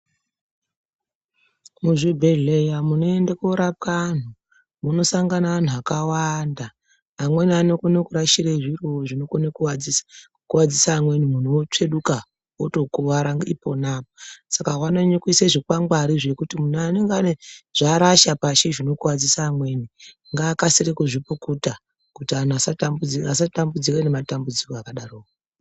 Muzvibhedhleya munoende koorapwa antu munosanga antu akawanda, amweni anokone kurashire zviro zvinokone kukuwadzise amweni muntu otostsveduka otokuwara ipona apa, saka vanonyanya kuise zvikwangwari zvekuti muntu anenge ane zvaarasha pashi zvinokuwadzise amweni ngaakasire kuzvipukuta kuti antu asatambudzike ngematambudziko akadaroko.